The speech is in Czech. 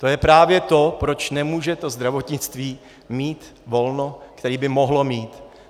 To je právě to, proč nemůže to zdravotnictví mít volno, které by mohlo mít.